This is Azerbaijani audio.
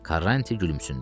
Karranti gülümsündü.